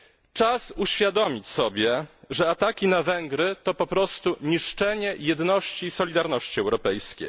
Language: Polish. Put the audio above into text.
Czas uświadomić sobie, że ataki na Węgry to po prostu niszczenie jedności i solidarności europejskiej.